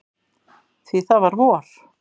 Því það var vor.